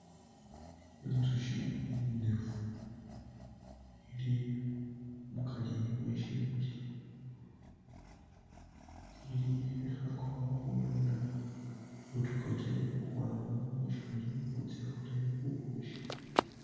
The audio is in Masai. Inzushi inefu ili mukari mwe shimuli, lili, khekhakakho khununa butokote khukhwama mushimuli butse bukhole bubushi.